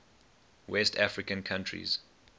west african countries